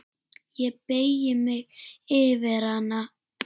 Ég beygi mig yfir hana.